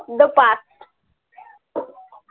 the path